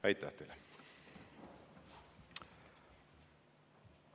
Aitäh teile!